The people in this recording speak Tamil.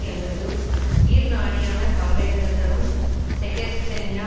எங்களது உயிர் நாடியான கவலைகளை தரும் செகஸ்ச்சென்யா